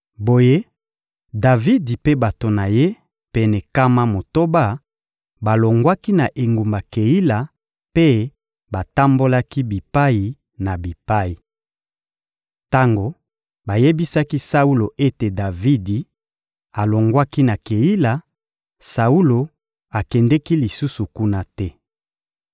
Boye, Davidi mpe bato na ye pene nkama motoba balongwaki na engumba Keila mpe batambolaki bipai na bipai. Tango bayebisaki Saulo ete Davidi alongwaki na Keila, Saulo akendeki lisusu kuna te.